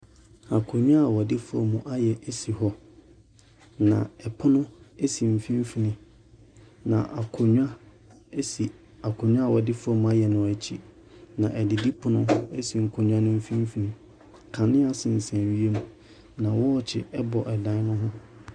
Akonnwa a wɔde foam ayɛ si hɔ na pono si mfimfini, na akonnwa si akonnwa a wɔde foam ayɛ no akyi, na adidipono si nkonnwa no mfimfini. Kanea sensɛn wiem, na wɔɔkye bɔ dan ne ho.